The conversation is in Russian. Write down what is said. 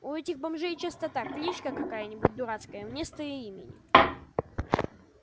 у этих бомжей часто так кличка какая-нибудь дурацкая вместо имени